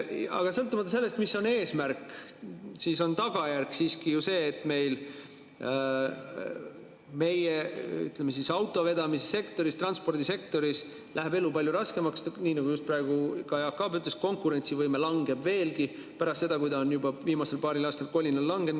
Aga sõltumata sellest, mis on eesmärk, on tagajärg siiski ju see, et meie, ütleme, autovedamissektoris, transpordisektoris läheb elu palju raskemaks, nii nagu just praegu ka Jaak Aab ütles, konkurentsivõime langeb veelgi, pärast seda, kui ta on juba viimasel paaril aastal kolinal langenud.